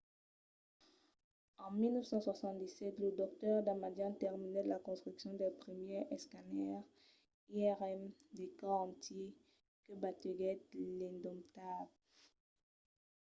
en 1977 lo dr. damadian terminèt la construccion del primièr escanèr irm de còrs entièr” que bategèt l'”indomdable